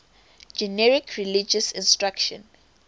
generic religious instruction